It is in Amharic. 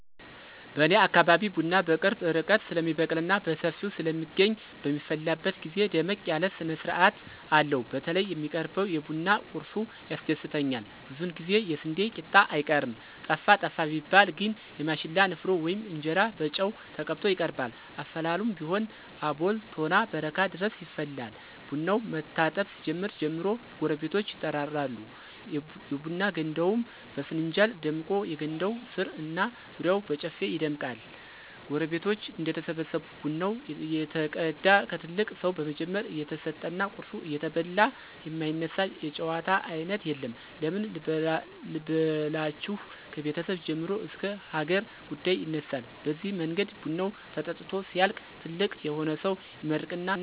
በኔ አካባቢ ቡና በቅርብ ርቀት ስለሚበቅልና በሰፊው ስለሚገኝ በሚፈላበት ግዜ ደመቅ ያለ ስነስርአት አለው። በተለይ የሚቀርበው የቡና ቁርሱ ያስደስተኛል ብዙውን ጊዜ የስንዴ ቂጣ አይቀርም። ጠፋ ጠፋ ቢባል ግን የማሽላ ንፍሮ ወይም እንጀራ በጨው ተቀብቶ ይቀርባል። አፈላሉም ቢሆን አቦል፣ ቶና፣ በረካ ድረስ ይፈላል። ቡናው መታጠብ ሲጀምር ጀምሮ ጎረቤቶች ይጠራሉ፤ የቡና ገንዳውም በፍንጃል ደምቆ የገንዳው ስር እና ዙሪያው በጨፌ ይደምቃል። ጎረቤቶች እንደተሰበሰቡ ቡናው እየተቀዳ ከትልቅ ሰው በመጀመር እየተሰጠና ቁርሱ እየተበላ የማይነሳ የጨዋታ አይነት የለም። ምን ልበላችሁ ከቤተሰብ ጀምሮ እስከ ሀገር ጉዳይ ይነሳል በዚህ መንገድ ቡናው ተጠጥቶ ሲያልቅ ትልቅ የሆነ ሰው ይመርቅና መለያየት ይሆናል።